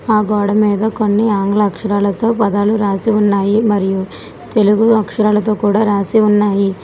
ఆ గోడ మీద కొన్ని ఆంగ్ల అక్షరాలతో పదాలు రాసి ఉన్నాయి మరియు తెలుగు అక్షరాలతో కూడా రాసి ఉన్నాయి.